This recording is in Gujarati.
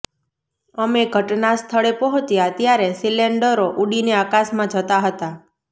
અમે ઘટના સ્થળે પહોંચ્યા ત્યારે સિલેન્ડરો ઉડીને આકાશમાં જતા હતા